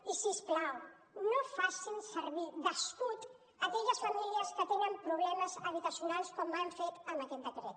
i si us plau no facin servir d’escut aquelles famílies que tenen problemes habitacionals com han fet amb aquest decret